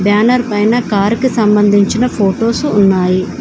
Banner పైన కారుకు సంబంధించిన ఫొటోస్ ఉన్నాయి.